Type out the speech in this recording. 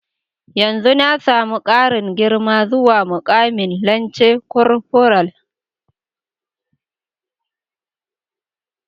Yanzu na samu karin girma zuwa mukamin lance korfural.